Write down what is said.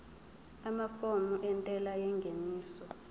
amafomu entela yengeniso